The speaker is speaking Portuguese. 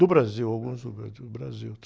Do Brasil, alguns do Brasil, Brasil.